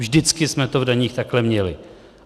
Vždycky jsme to v daních takhle měli.